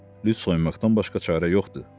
Lüt soyunmaqdan başqa çarə yoxdur, dedi.